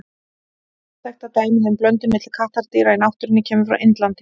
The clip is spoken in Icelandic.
Eina þekkta dæmið um blöndun milli kattardýra í náttúrunni kemur frá Indlandi.